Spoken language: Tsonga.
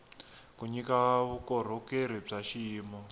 ku nyika vukorhokeri bya xiyimo